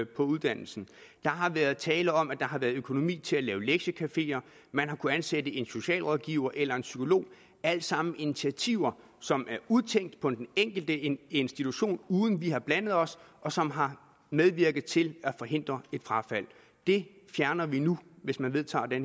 på uddannelsen der har været tale om at der har været økonomi til at lave lektiecafeer til man har kunnet ansætte en socialrådgiver eller en psykolog alle sammen initiativer som er udtænkt på den enkelte institution uden at vi har blandet os og som har medvirket til at forhindre et frafald det fjerner vi nu hvis man vedtager det